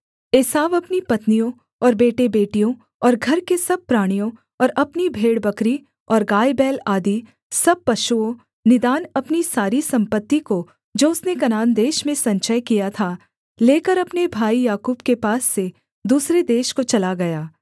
एसाव अपनी पत्नियों और बेटेबेटियों और घर के सब प्राणियों और अपनी भेड़बकरी और गायबैल आदि सब पशुओं निदान अपनी सारी सम्पत्ति को जो उसने कनान देश में संचय किया था लेकर अपने भाई याकूब के पास से दूसरे देश को चला गया